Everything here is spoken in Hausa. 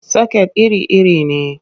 Soket iri-iri ne.